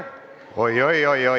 Oi-oi-oi-oi!